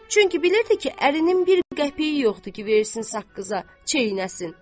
Çünki bilirdi ki, ərinin bir qəpiyi yoxdur ki, versin saqqıza, çeynəsin.